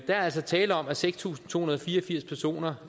altså tale om at seks tusind to hundrede og fire og firs personer